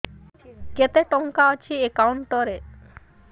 କେତେ ଟଙ୍କା ଅଛି ଏକାଉଣ୍ଟ୍ ରେ